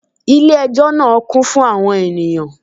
Ilé ẹjọ́ náà kún fún àwọn ènìyàn